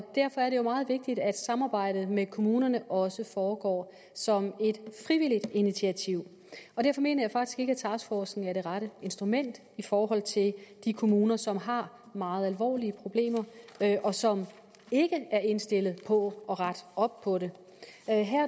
derfor er det jo meget vigtigt at samarbejdet med kommunerne også foregår som et frivilligt initiativ derfor mener jeg faktisk ikke at taskforcen er det rette instrument i forhold til de kommuner som har meget alvorlige problemer og som ikke er indstillet på at rette op på det